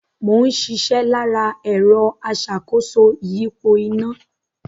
Mò ń ṣiṣẹ́ lára ẹ̀rọ aṣàkóso ìyípo iná